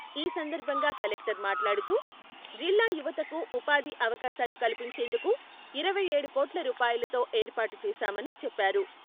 ఈ సందర్భంగా కలెక్టర్ మాట్లాడుతూ, జిల్లా యువతకు ఉపాధి అవకాశాలు కల్పించేందుకు ఇరవై ఏడు కోట్ల రూపాయలతో ఏర్పాటు చేసామని చెప్పారు.